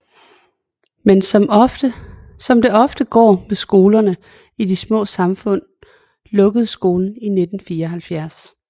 Men som det ofte går med skolerne i de små samfund lukkede skolen i 1974